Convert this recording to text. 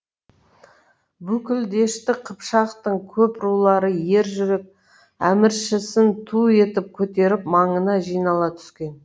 бүкіл дешті қыпшақтың көп рулары ер жүрек әміршісін ту етіп көтеріп маңына жинала түскен